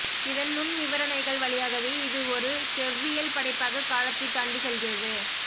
இதன் நுண் விவரணைகள் வழியாகவே இது ஒரு செவ்வியல் படைப்பாக காலத்தைத் தாண்டிச் செல்கிறது